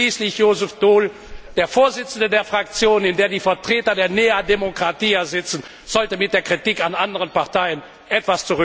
Und schließlich Joseph Daul, der Vorsitzende der Fraktion, in der die Vertreter der Nea Demokratia sitzen, sollte sich mit der Kritik an anderen Parteien etwas zurückhalten.